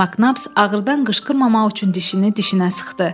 Maknaps ağırdan qışqırmamaq üçün dişini dişinə sıxdı.